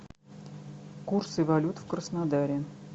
курсы валют в краснодаре